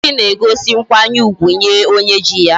Echichi na egosi nkwanye ugwu Nye onye ji ya